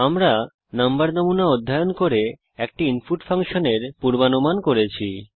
আমরা নম্বর নমুনা অধ্যয়ন করে একটি ইনপুট ফাংশনের পূর্বানুমান করেছি